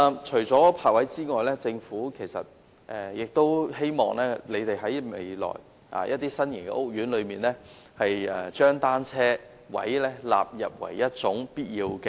除了泊位之外，我亦希望政府在未來的新型屋苑內，將單車泊位納入為必要設計。